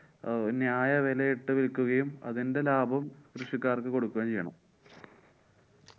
അഹ് ന്യായവിലയിട്ട് വില്‍ക്കുകയും അതിന്‍ടെലാഭം കൃഷിക്കാര്‍ക്ക് കൊടുക്കുകയും ചെയ്യണം.